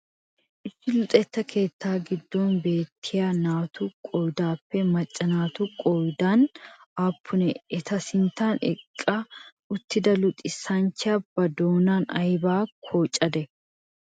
Issi luxetta keettaa giddo beettiya naatu giddoppe macca naati qoodaan aappunee? Eta sintta eqqa uttida luxissachchiya ba doonaan aybaa qachchadee?